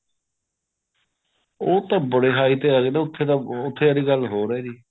ਉਹ ਤਾਂ ਬੜੀ high ਤੇ ਆਂ ਜਾਂਦਾ ਉਥੇ ਵਾਲੀ ਗੱਲ ਹੋਰ ਹੈ ਜੀ